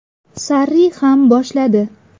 Sarri ham boshladi.